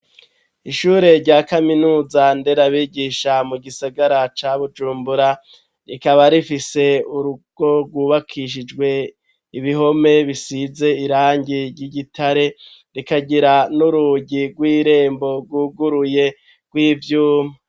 Ishure rya kaminuza nderabigisha mu gisagara ca Bujumbura rikaba rifise urugo rwubakishijwe ibihome bisize irangi ry'igitare rikagira n'urugi rw'irembo rwuguruye rw'ivyuma